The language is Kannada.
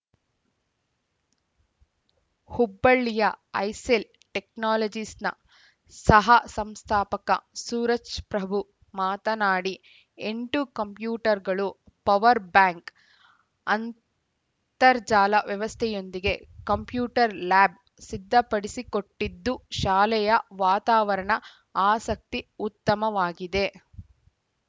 ಹುಬ್ಬಳ್ಳಿಯ ಐಸೆಲ್‌ ಟೆಕ್ನಾಲಜಿಸ್‌ನ ಸಹಸಂಸ್ಥಾಪಕ ಸೂರಜ್‌ಪ್ರಭು ಮಾತನಾಡಿ ಎಂಟು ಕಂಪ್ಯೂಟರ್‌ಗಳು ಪವರ್‌ ಬ್ಯಾಕ್‌ ಅಂತರ್ಜಾಲ ವ್ಯವಸ್ಥೆಯೊಂದಿಗೆ ಕಂಪ್ಯೂಟರ್‌ ಲ್ಯಾಬ್‌ ಸಿದ್ಧಪಡಿಸಿಕೊಟ್ಟಿದ್ದು ಶಾಲೆಯ ವಾತಾವರಣ ಆಸಕ್ತಿ ಉತ್ತಮವಾಗಿದೆ